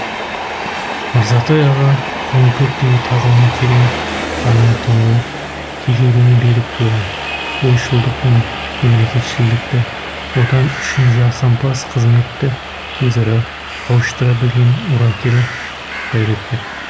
мырзатай аға тоныкөктей тағылымы терең танымы тұңғиық тегеуріні берік тұлға ойшылдық пен мемлекетшілдікті отан үшін жасампаз қызметті өзара қауыштыра білген өрелі қайраткер